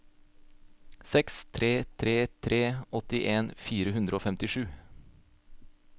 seks tre tre tre åttien fire hundre og femtisju